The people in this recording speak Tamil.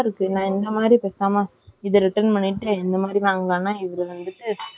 ஹான் ஹான், இது கவுஷிக் சொல்லுறான் இது ஒன்னும் அவ்ளோ quality இல்ல.ஆனால் போசு,